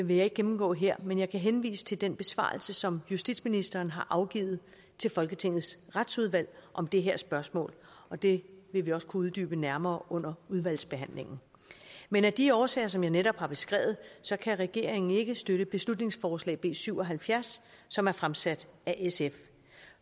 vil jeg ikke gennemgå her men jeg kan henvise til den besvarelse som justitsministeren har afgivet til folketingets retsudvalg om det her spørgsmål og det vil vi også kunne uddybe nærmere under udvalgsbehandlingen men af de årsager som jeg netop har beskrevet kan regeringen ikke støtte beslutningsforslag b syv og halvfjerds som er fremsat af sf